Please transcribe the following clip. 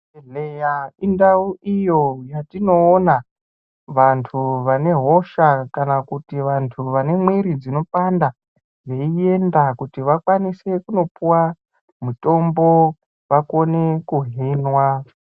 Chibhedhlera indau iyo yatinoona vantu vane hosha kana kuti vantu vanemwiri dzinopanda veienda kuti vakwanise kunopuwa mutombo vakone kuhinwa.